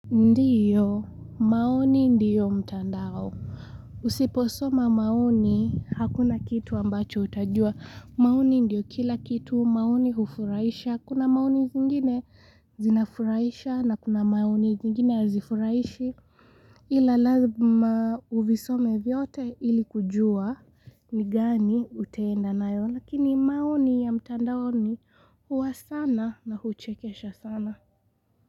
Ndiyo, maoni ndiyo mtandao. Usiposoma maoni, hakuna kitu ambacho utajua. Maoni ndiyo kila kitu, maoni hufuraisha. Kuna maoni zingine zinafurahisha na kuna maoni zingine hazifurahishi. Ila lazima uvisome vyote ili kujua ni gani utaenda nayo. Lakini maoni ya mtandaoni huwa sana na huchekesha sana.